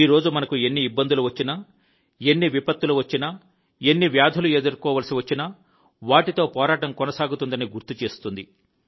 ఈ రోజు మనకు ఎన్ని ఇబ్బందులు వచ్చినా ఎన్ని విపత్తులు వచ్చినా ఎన్ని వ్యాధులు ఎదుర్కోవలసి వచ్చినా వాటితో పోరాటం కొనసాగుతుందని గుర్తుచేస్తుంది